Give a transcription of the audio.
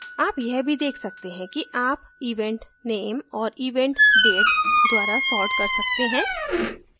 आप यह भी date सकते हैं कि आप event name और event date द्वारा sort कर सकते हैं